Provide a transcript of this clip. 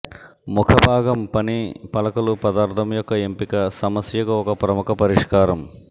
ముఖభాగం పని పలకలు పదార్థం యొక్క ఎంపిక సమస్యకు ఒక ప్రముఖ పరిష్కారం